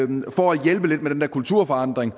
dem for at hjælpe lidt med den der kulturforandring